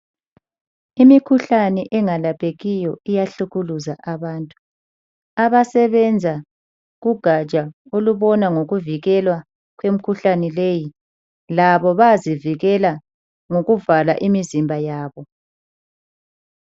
Imikhuhlane engalalaphekiyo iyahlukuluza abantu. Kugatsha olubona ngokuvikela kwemikhuhlane leyi labo bayazivikela ngokuvala imizimba yabo.